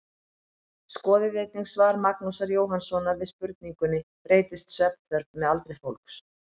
Skoðið einnig svar Magnúsar Jóhannssonar við spurningunni Breytist svefnþörf með aldri fólks?